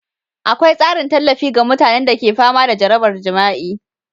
Akwai tsarin tallafi ga mutanen da ke fama da jarabar jima'i,